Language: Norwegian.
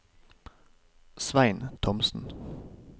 Svein Thomsen